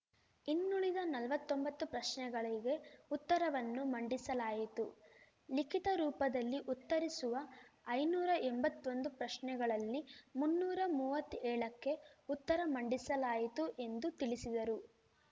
ಇನ್ನುಳಿದ ನಲ್ವತ್ತೊಂಬತ್ತು ಪ್ರಶ್ನೆಗಳಿಗೆ ಉತ್ತರವನ್ನು ಮಂಡಿಸಲಾಯಿತು ಲಿಖಿತ ರೂಪದಲ್ಲಿ ಉತ್ತರಿಸುವ ಐನೂರಾ ಎಂಬತ್ತೊಂದು ಪ್ರಶ್ನೆಗಳಲ್ಲಿ ಮುನ್ನೂರಾ ಮೂವತ್ತ ಏಳಕ್ಕೆ ಉತ್ತರ ಮಂಡಿಸಲಾಯಿತು ಎಂದು ತಿಳಿಸಿದರು